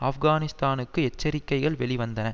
ஆப்கானிஸ்தானுக்கு எச்சரிக்கைகள் வெளிவந்தன